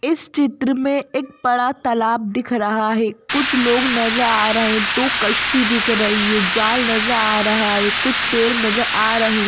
इस चित्र में एक बड़ा तालाब दिख रहा हैं कुछ लोग नजर आ रहे हैं दो कश्ती दिख रही हैं जाल नजर आ रहा हैं कुछ पेड़ नजर आ रहे हैं।